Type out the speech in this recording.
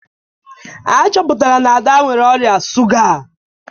A chọpụtara na Ada nwere ọrịa shuga